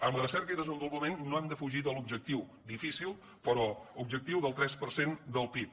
en recerca i desenvolupament no hem de fugir de l’objectiu difícil però objectiu del tres per cent del pib